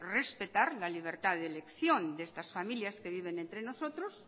respetar la libertad de elección de estas familias que viven entre nosotros